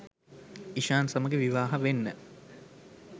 ඉෂාන් සමඟ විවාහ වෙන්න.